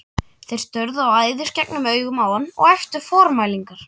Þeir störðu æðisgengnum augum á hann og æptu formælingar.